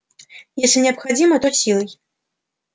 если необходимо то силой